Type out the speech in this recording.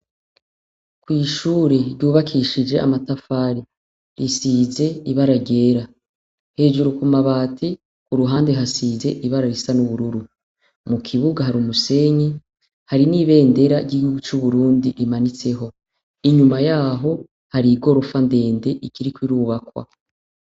Kw'ishure ryubakishije amatafari ,risize ibara ryera. Hejuru kumabati kuruhande hasize ibara risa nubururu, kukibuga hari umusenyi hari niberendera ry'igihugu c'Uburundi imahitseho. Inyuma yaho hari igorofa ndende ikiriko irubakwa .